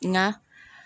Na